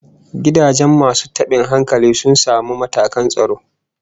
Gidajen masu tabin hankalin sun samu matakan tsaro